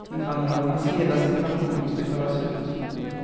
Invandrarnas hela situation måste klaras ut.